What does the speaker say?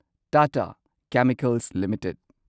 Tata chemicals limited